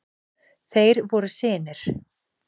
Þeir voru synir